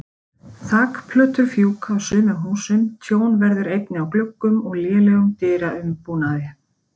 Þakplötur fjúka af sumum húsum, tjón verður einnig á gluggum og lélegum dyraumbúnaði.